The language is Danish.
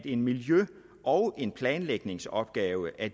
en miljø og en planlægningsopgave af